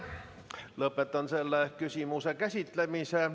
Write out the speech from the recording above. Lõpetan selle küsimuse käsitlemise.